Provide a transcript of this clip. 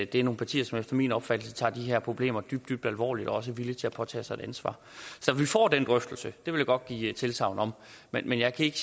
det er nogle partier som efter min opfattelse tager de her problemer dybt dybt alvorligt og også er villige til at påtage sig et ansvar så vi får den drøftelse det vil jeg godt give tilsagn om men jeg kan ikke